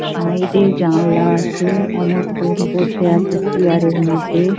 Side এ জানলা আছে অনেকজন বসে আছে চেয়ারের মধ্যে।